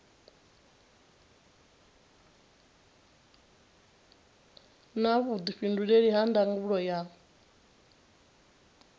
na vhuifhinduleli ha ndangulo ya